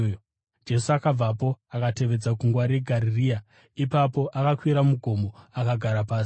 Jesu akabvapo akatevedza gungwa reGarirea. Ipapo akakwira mugomo akagara pasi.